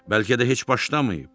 Bəlkə də heç başlamayıb.